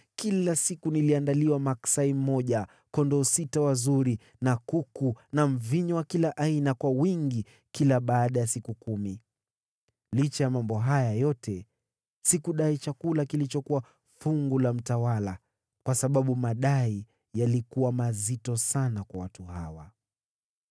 Kila siku niliandaliwa maksai mmoja, kondoo sita wazuri, na kuku, na mvinyo wa kila aina kwa wingi kila baada ya siku kumi. Licha ya mambo haya yote, sikudai chakula kilichokuwa fungu la mtawala, kwa sababu madai yalikuwa mazito sana kwa watu hawa.